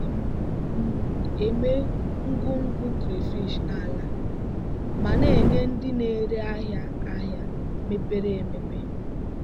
ana m m eme ngwugwu crayfish n'ala ma na-enye ndị na-ere ahịa ahịa mepere emepe.